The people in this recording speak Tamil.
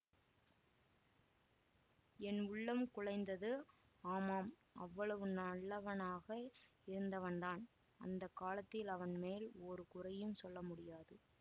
என் உள்ளம் குழைந்தது ஆமாம் அவ்வளவு நல்லவனாக இருந்தவன்தான் அந்த காலத்தில் அவன் மேல் ஒரு குறையும் சொல்ல முடியாது